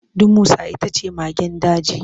Damusa ita ce magen daji.